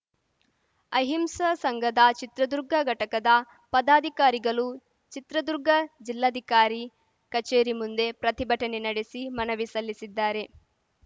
ಅಹಿಂಸಾ ಸಂಘದ ಚಿತ್ರದುರ್ಗ ಘಟಕದ ಪದಾಧಿಕಾರಿಗಲು ಚಿತ್ರದುರ್ಗ ಜಿಲ್ಲಾಧಿಕಾರಿ ಕಚೇರಿ ಮುಂದೆ ಪ್ರತಿಭಟನೆ ನಡೆಸಿ ಮನವಿ ಸಲ್ಲಿಸಲಿದ್ದಾರೆ